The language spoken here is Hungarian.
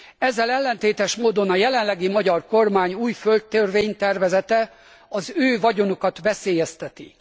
Ezzel ellentétes módon a jelenlegi magyar kormány új földtörvénytervezete az ő vagyonukat veszélyezteti.